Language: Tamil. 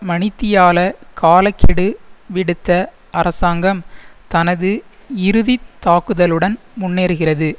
மணித்தியால கால கெடு விடுத்த அரசாங்கம் தனது இறுதி தாக்குதலுடன் முன்னேறுகிறது